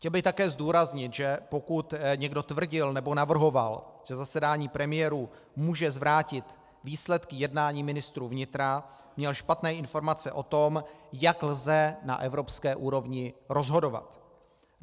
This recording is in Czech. Chtěl bych také zdůraznit, že pokud někdo tvrdil nebo navrhoval, že zasedání premiérů může zvrátit výsledky jednání ministrů vnitra, měl špatné informace o tom, jak lze na evropské úrovni rozhodovat.